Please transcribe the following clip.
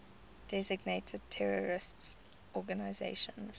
designated terrorist organizations